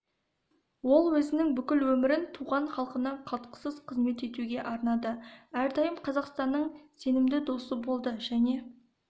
ол өзінің бүкіл өмірін туған халқына қалтқысыз қызмет етуге арнады әрдайым қазақстанның сенімді досы болды және